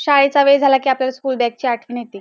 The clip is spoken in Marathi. शाळेचा वेळ झाला कि आपल्याला स्कूल बॅग ची आठवण येते.